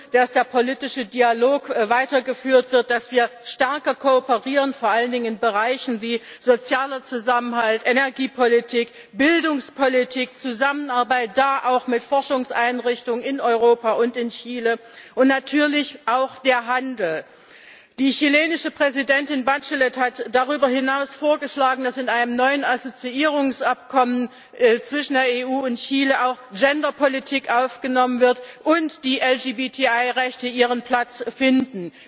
dass der politische Dialog weitergeführt wird, dass wir stärker kooperieren, vor allen Dingen in Bereichen wie sozialer Zusammenhalt, Energiepolitik, Bildungspolitik, Zusammenarbeit da auch mit Forschungseinrichtungen in Europa und in Chile und natürlich auch beim Handel. Die chilenische Präsidentin Bachelet hat darüber hinaus vorgeschlagen, dass in einem neuen Assoziierungsabkommen zwischen der EU und Chile auch Gender Politik aufgenommen wird und die LGBTI Rechte dort ihren Platz finden.